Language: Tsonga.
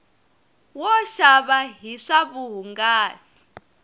wo xava hi swa vuhungasi